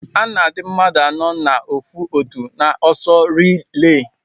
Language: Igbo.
Ana adi mmadu anọ na ofu otu na ọsọ rile.